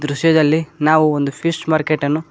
ವಿಷಯದಲ್ಲಿ ನಾವು ಒಂದು ಫಿಶ್ ಮಾರ್ಕೆಟ್ ಅನ್ನು.